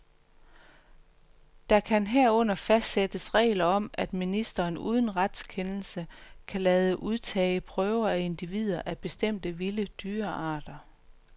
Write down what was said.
Der kan herunder fastsættes regler om, at ministeren uden retskendelse kan lade udtage prøver af individer af bestemte vilde dyrearter.